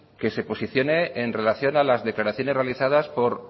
que se posiciones en relación a las declaraciones realizadas por